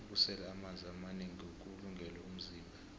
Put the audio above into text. ukusela amanzi amanengi kuwulungele umzimba